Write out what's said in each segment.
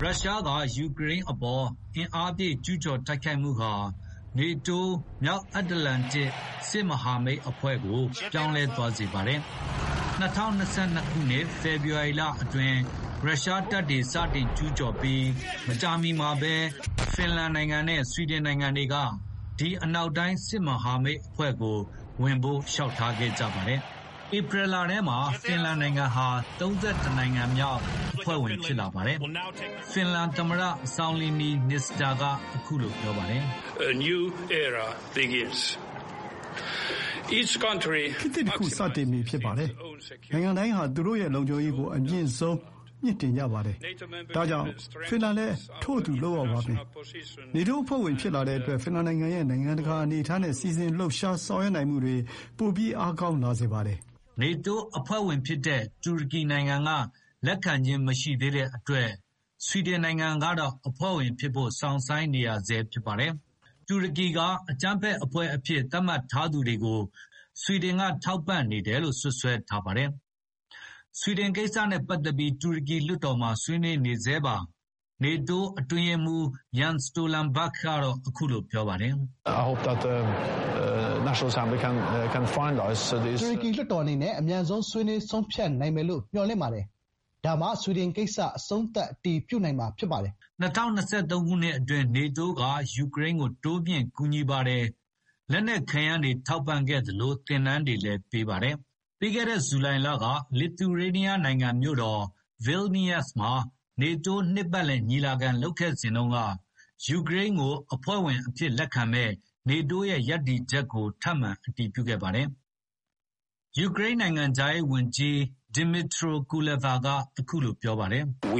ရုရှားကယူကရိန်းပေါ် အင်အားပြည့်ကျူးကျော်တိုက်ခိုက်မှုဟာ NATO မြောက်အတ္တလန်တစ်စစ်မဟာမိတ်အဖွဲ့ကို ပြောင်းလဲသွားစေပါတယ်။ ၂၀၂၂ ခုနှစ် ဖေဖေါ်ဝါရီလအတွင်းရုရှားတပ်တွေစတင်ကျူးပြီး မကြာမီမှာပဲ ဖင်လန်နဲ့ဆွီဒင်နိုင်ငံတွေက ဒီအနောက်တိုင်းစစ်မဟာမိတ်အဖွဲ့ကိုဝင်ဖို့လျှောက်ထားခဲ့ကြပါတယ်။ ဧပြီလထဲမှာတော့ ဖင်လန်နိုင်ငံဟာ ၃၁ နိုင်ငံမြောက်အဖွဲ့ဝင်ဖြစ်လာပါတယ်။ ဖင်လန်သမ္မတ စောင်လီနီနစ္စတို ကအခုလို ပြောဆိုခဲ့ပါတယ်။ “ခေတ်သစ်တခုစတင်ပြီဖြစ်ပါတယ်။ နိုင်ငံတိုင်းဟာ သူတို့ရဲ့လုံခြုံရေးကို အမြင့်ဆုံးမြှင့်တင်ကြပါတယ်။ ဒါကြောင့် ဖင်လန်လည်း ထို့အတူလုပ်ရပါမယ်။ NATO အဖွဲ့ဝင်ဖြစ်လာတဲ့အတွက် ဖင်လန်နိုင်ငံရဲ့ နိုင်ငံတကာအနေအထားနဲ့ စီစဉ်လှုပ်ရှားဆောင်ရွက်နိုင်မှုတွေ ပိုအားကောင်းလာစေပါတယ်။” NATO အဖွဲ့ဝင်ဖြစ်တဲ့ တူရကီကလက်ခံခြင်းမရှိသေးတဲ့အတွက် ဆွီဒင်နိုင်ငံကတော့ အဖွဲ့ဝင်ဖြစ်ဖို့ စောင့်ဆိုင်းနေရဆဲဖြစ်ပါတယ်။ တူရကီက အကြမ်းဖက်အဖွဲ့အဖြစ် သတ်မှတ်ထားသူတွေကို ဆွီဒင်ကထောက်ပံ့နေတယ်လို့စွပ်စွဲထားပါတယ်။ ဆွီဒင်ကိစ္စနဲ့ပတ်သက်ပြီး တူရကီလွှတ်တော်မှာဆွေးနွေးနေဆဲပါ။ NATO အတွင်းရေးမှူး Jens Stoltenberg ကအခုလိုပြောပါတယ်။ “တူရကီလွှတ်တော်အနေနဲ့ အမြန်ဆုံးဆွေးနွေးဆုံးဖြတ်နိုင်မယ်လို့မျှော်လင့်ပါတယ်။ ဒါမှ ဆွီဒင်ကိစ္စ အဆုံးသတ် အတည်ပြုနိုင်မှာဖြစ်ပါတယ်။” ၂၀၂၃ ခုနှစ်အတွင်း NATO က ယူကရိန်းကို တိုးမြှင့်ကူညီပါတယ်။ လက်နက်ခဲယမ်းတွေထောက်ပံ့ခဲ့သလို သင်တန်းတွေလည်းပေးခဲ့ပါတယ်။ ပြီးခဲ့တဲ့ ဇူလိုင်လ လစ်သူရေးနီးယားမြို့တော ဗေးနီးရပ်စ် မှာ NATO နှစ်ပတ်လယ်ညီလာခံလုပ်ခဲ့စဉ်တုန်းက ယူကရိန်းကိုအဖွဲ့ဝင်အဖြစ် လက်ခံမယ့် NATO ရဲ့ရပ်တည်ချက်ကို ထပ်မံအတည်ပြုခဲ့ပါတယ်။ ယူကရိန်းနိုင်ငံခြားရေးဝန်ကြီး ဒစ်မစ်ထြိုကူလက်ဗာ က အခုလိုပြောဆိုခဲ့ပါတယ်။ “ကျ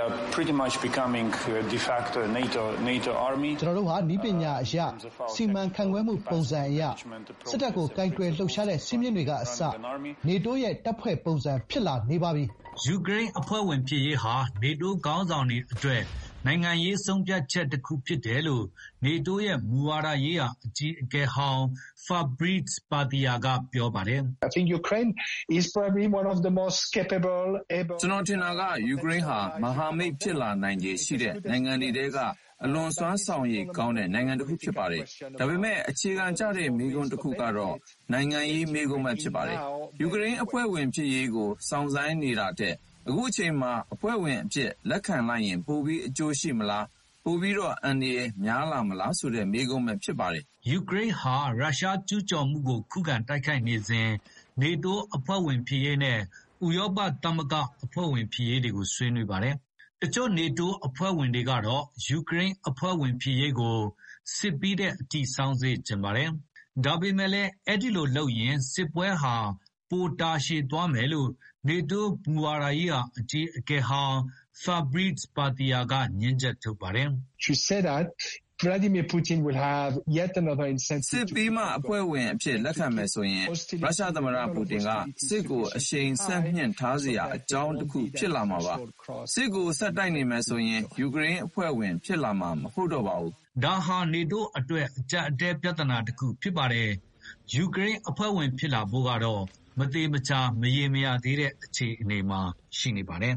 နော်တို့ဟာ နည်းပညာအရ စီမံခန့်ခွဲမှုပုံစံအရ စစ်တပ်ကိုကိုင်တွယ်လှုပ်ရှားတဲ့စည်းမျဉ်းတွေကအစ NATO ရဲ့ တပ်ဖွဲ့ပုံစံဖြစ်လာနေပါပြီ။” ယူကရိန်းအဖွဲ့ဝင်ဖြစ်ရေးဟာ NATO ခေါင်းဆောင်တွေအတွက် နိုင်ငံရေးဆုံးဖြတ်ချက်တခုဖြစ်ပါတယ်လို့ NATO ရဲ့ မူဝါဒရေးရာအကြီးအကဲဟောင်း ဖါဘရိစ် ပါသီရာ ကပြောပါတယ်။ “ကျနော်ထင်တာက ယူကရိန်းဟာ မဟာမိတ်ဖြစ်လာနိုင်ခြေရှိတဲ့နိုင်ငံတွေထဲက အလွန်စွမ်းဆောင်ရွည်ကောင်းတဲ့ နိုင်ငံတခုဖြစ်ပါတယ်။ ဒါပေမယ့် အခြေခံကျတဲ့မေးခွန်းတခုကတော့ နိုင်ငံရေးမေးခွန်းဖြစ်ပါတယ်။ ယူကရိန်းအဖွဲ့ ဝင်ဖြစ်ရေးကို စောင့်ဆိုင်းနေတာထက် အခုအချိန်မှာ အဖွဲ့ဝင်အဖြစ်လက်ခံလိုက်ရင် ပိုပြီးအကျိုးရှိမလား၊ ပိုပြီးအန္တရာယ်များမလား ဆိုတဲ့မေးခွန်းဖြစ်ပါတယ်။” ယူကရိန်းဟာ ရုရှားကျူးကျော်မှုကို ခုခံတိုက်ခိုက်နေစဉ် NATO အဖွဲ့ဝင်ဖြစ်ရေးနဲ့ ဥရောပသမဂ္ဂအဖွဲ့ဝင်ဖြစ်ရေးကို ဆွေးနွေးပါတယ်။ တချို့ NATO အဖွဲ့ဝင်တွေကတော့ ယူရိန်းအဖွဲ့ဝင်ဖြစ်ရေးကို စစ်ပြီးတဲ့အထိ စောင့်စေ့ချင်ပါတယ်။ ဒါပေမယ့်လည်း အဲဒိလိုလုပ်ရင် စစ်ပွဲဟာပိုတာရှည်သွားမယ်လို့ NATO မူဝါဒရေးရာအကြီးအကဲဟောင်း ဖါဘရိ ပါသီရာ ကငြင်းချက်ထုတ်ပါတယ်။ “စစ်ပြီးမှအဖွဲ့ဝင်အဖြစ်လက်ခံမယ်ဆိုရင်ရုရှားသမ္မတပူတင်က စစ်ကိုအရှိန်ဆက်မြှင့်ထားစရာအကြောင်းတခုဖြစ်လာမှာပါ။ စစ်ကိုဆက်တိုက်နေမယ်ဆိုရင် ယူကရိန်းအဖွဲ့ဝင်ဖြစ်လာမှာမဟုတ်တော့ပါဘူး။” ဒါဟာ NATO အတွက် အကြပ်အတည်းပြဿနာတခုဖြစ်ပါတယ်။ ယူကရိန်းအဖွဲ့ဝင်ဖြစ်လာဖို့ကတော့ မသေချာမရေရာ သေးတဲ့အခြေအနေမှာရှိနေပါတယ်